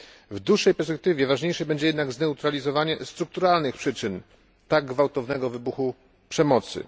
W dłuższej perspektywie ważniejsze będzie jednak zneutralizowanie strukturalnych przyczyn tak gwałtownego wybuchu przemocy.